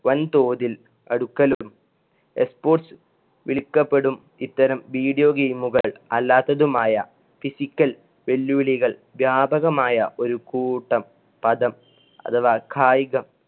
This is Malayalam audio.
വൻ തോതിൽ അടുക്കലും E sports വിളിക്കപ്പെടും ഇത്തരം video game കൾ അല്ലാത്തതുമായ physical വെല്ലുവിളികൾ വ്യാപകമായ ഒരു കൂട്ടം പദം അഥവാ കായികം